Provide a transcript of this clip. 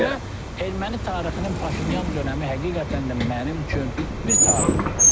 Əslində erməni tarixinin Paşinyan dönəmi həqiqətən də mənim üçün bir tarixi dönəmdir.